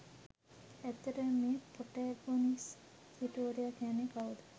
ඇත්තටම මේ ප්‍රොටැගොනිස්ට් සිටුවරයා කියන්නෙ කවුද?